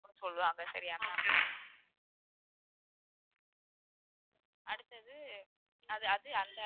அப்படின்னு சொல்லுவாங்க சரியா ma'am அடுத்தது அது அது அந்த